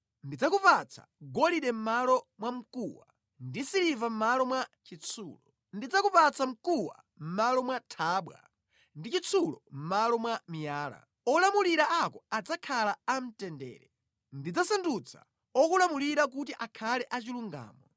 Ndidzakupatsa golide mʼmalo mwa mkuwa, ndi siliva mʼmalo mwa chitsulo. Ndidzakupatsa mkuwa mʼmalo mwa thabwa ndi chitsulo mʼmalo mwa miyala. Olamulira ako adzakhala a mtendere. Ndidzasandutsa okulamulira kuti akhale achilungamo.